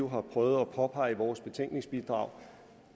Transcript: har prøvet at påpege i vores betænkningsbidrag